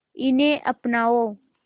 इन्हें अपनाओ